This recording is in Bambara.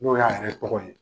N'o y'a yɛrɛ tɔgɔ ye